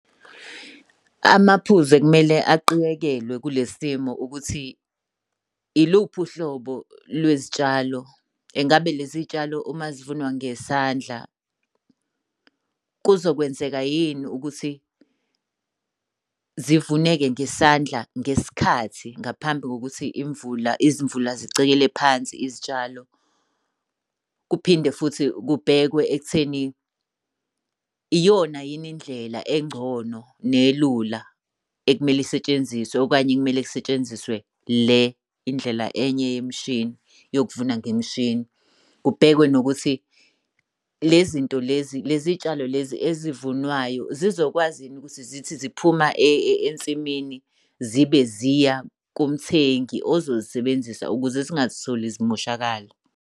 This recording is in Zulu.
Amaphuzu ekumele aqikekelwe kule simo ukuthi iluphi uhlobo lwezitshalo, ngabe lezi tshalo uma zivunwa ngesandla kuzokwenzeka yini ukuthi zivune-ke ngesandla ngesikhathi ngaphambi kokuthi imvula izimvula zicekele phansi izitshalo? Kuphinde futhi kubhekwe ekutheni iyona yini indlela engcono nelula ekumele isetshenziswe okanye kumele kusetshenziswe le indlela enye yemishini yokuvuna ngemishini. Kubhekwe nokuthi le zinto lezi, lezi tshalo lezi ezivunwayo zizokwazi yini ukuthi zithi ziphuma ensimini zibe ziya kumthengi ozozisebenzisa ukuze zingazitholi zimoshakala.